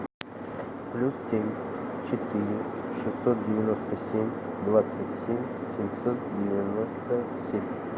плюс семь четыре шестьсот девяносто семь двадцать семь семьсот девяносто семь